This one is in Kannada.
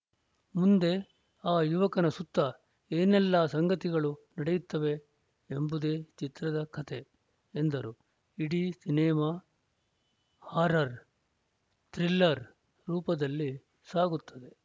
ಮುಂದೆ ಆ ಯುವಕನ ಸುತ್ತ ಏನೆಲ್ಲ ಸಂಗತಿಗಳು ನಡೆಯುತ್ತವೆ ಎಂಬುದೇ ಚಿತ್ರದ ಕತೆ ಎಂದರು ಇಡೀ ಸಿನಿಮಾ ಹಾರರ್‌ ಥ್ರಿಲ್ಲರ್‌ ರೂಪದಲ್ಲಿ ಸಾಗುತ್ತದೆ